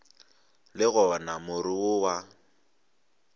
le gona more wo wa